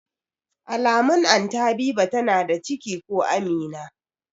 Alamun Anty Habiba tana da ciki ko Amina